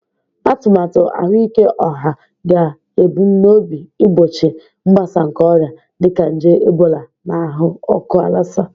Atụmatụ ahụike ọha ga-ebumnobi igbochi mgbasa nke ọrịa dịka nje Ebola na ahụ ọkụ Lassa